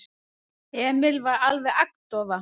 Emil var alveg agndofa.